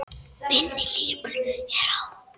Minni líkur eru á